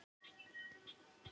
Hundaæði finnst víða um veröld.